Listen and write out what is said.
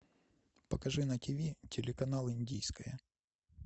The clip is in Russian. покажи на ти ви телеканал индийское